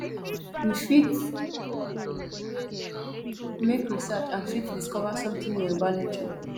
we fit make research and fit discover something new about nature